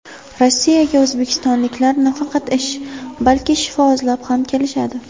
Rossiyaga o‘zbekistonliklar nafaqat ish, balki shifo izlab ham kelishadi.